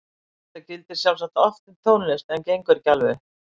Þetta gildir sjálfsagt oft um tónlist en gengur ekki alveg upp.